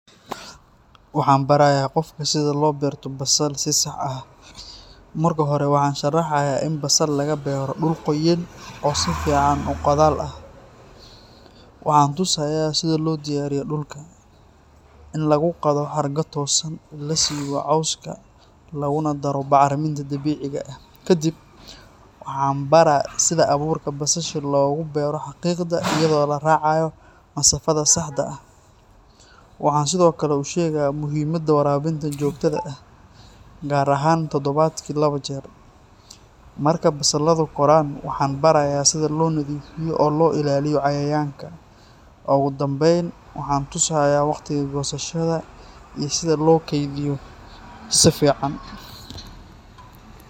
Waxaan barayaa qofka sida loo beerto basal si sax ah. Marka hore, waxaan sharaxayaa in basal laga beero dhul qoyan oo si fiican u qodaal ah. Waxaan tusayaa sida loo diyaariyo dhulka: in lagu qodo xargo toosan, la siibo cawska, laguna daro bacriminta dabiiciga ah. Kadib, waxaan baraa sida abuurka basasha loogu beero xarriiqda iyadoo la raacayo masaafada saxda ah . Waxaan sidoo kale u sheegaa muhiimada waraabinta joogtada ah, gaar ahaan toddobaadkii laba jeer. Marka basaladu koraan, waxaan barayaa sida loo nadiifiyo oo loo ilaaliyo cayayaanka. Ugu dambayn, waxaan tusayaa waqtiga goosashada iyo sida loo kaydiyo si fiican.